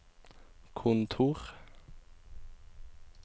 kontor